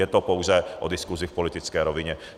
Je to pouze o diskusi v politické rovině.